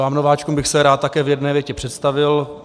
Vám nováčkům bych se rád také v jedné větě představil.